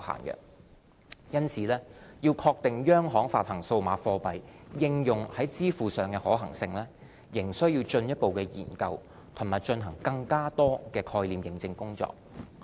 因此，要確定央行發行數碼貨幣應用在支付上的可行性，仍需進一步研究和進行更多概念驗證工作。